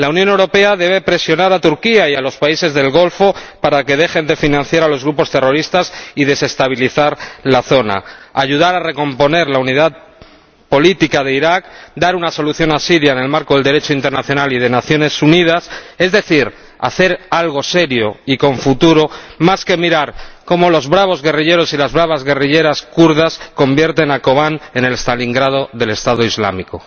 La Unión Europea debe presionar a Turquía y a los países del Golfo para que dejen de financiar a los grupos terroristas y desestabilizar la zona, ayudar a recomponer la unidad política de Irak, dar una solución a Siria en el marco del Derecho internacional y de las Naciones Unidas es decir, hacer algo serio y con futuro, más que mirar cómo los bravos guerrilleros y las bravas guerrilleras kurdas convierten a Kobane en el Stalingrado del Estado Islámico.